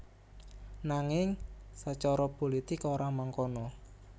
Nanging sacara pulitik ora mangkono